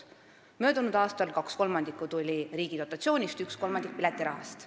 Möödunud aastal tuli kaks kolmandikku riigi dotatsioonist, üks kolmandik piletirahast.